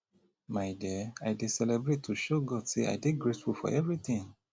my dear i dey celebrate to show god say i dey grateful for everything